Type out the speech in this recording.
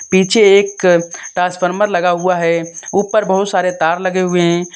पीछे एक ट्रांसफार्मर लगा हुआ है ऊपर बहोत सारे तार लगे हुए हैं।